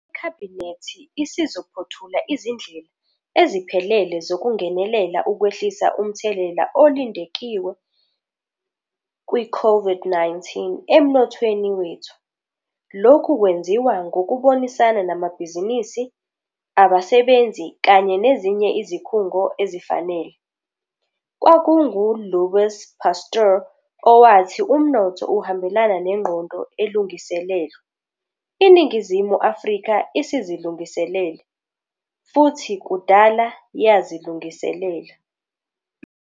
IKhabhinethi isizophothula izindlela eziphelele zokungenelela ukwehlisa umthelela olindelekile we-COVID-19 emnothweni wethu. Lokhu kwenziwa ngokubonisana namabhizinisi, abasebenzi kanye nezinye izikhungo ezifanele. Kwakungu-Louis Pasteur owathi umnotho uhambelana nengqondo elungiselelwe. INingizimu Afrika isizilungiselele, futhi kudala yazilungiselela.